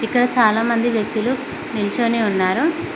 ఇక్కడ చాలామంది వ్యక్తులు నిల్చొని ఉన్నారు.